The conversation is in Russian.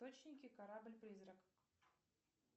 корабль призрак